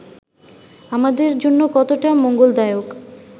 আমাদের জন্য কতটা মঙ্গলদায়ক